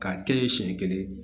K'a kɛɲɛ ye siɲɛ kelen